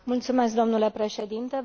Mulțumesc, domnule președinte.